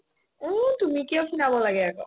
উম্, তুমি কিয় খীনাব লাগে আকৌ